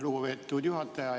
Lugupeetud juhataja!